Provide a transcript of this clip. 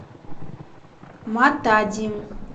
матади